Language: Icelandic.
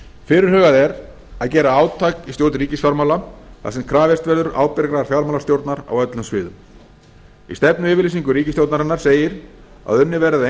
fyrirhugað er að gera átak í stjórn ríkisfjármála þar sem krafist verður ábyrgrar fjármálastjórnar á öllum sviðum í stefnuyfirlýsingu ríkisstjórnarinnar segir að unnið verði að